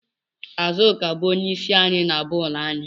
Azuka bu onye isi anyị na boolu anyị